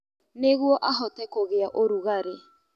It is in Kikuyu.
Nĩguo ahote kũgĩa ũrugarĩ